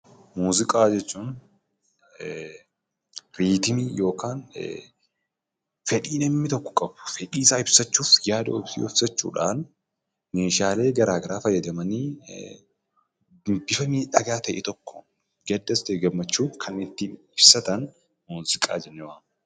Muuziqaa jechuun riitimii yookiin fedhii namni tokko qabu fedhii ofii ibsachuudhaan yaada ofii ibsachuudhaan meeshaalee garagaraa fayyadamanii bifa miidhagaa ta'e tokkoon gadda ta'ee gammachuu karaa ittiin ibsatan tokkoon muuziqaa jennee waamna.